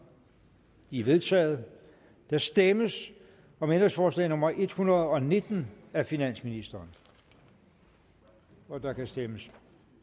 de er vedtaget der stemmes om ændringsforslag nummer en hundrede og nitten af finansministeren og der kan stemmes